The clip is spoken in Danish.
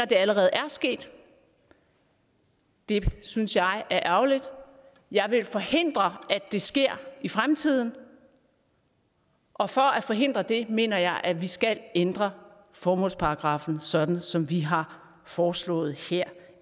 det allerede er sket det synes jeg er ærgerligt jeg vil forhindre at det sker i fremtiden og for at forhindre det mener jeg at vi skal ændre formålsparagraffen sådan som vi har foreslået her